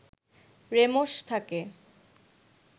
রেমশ থাকে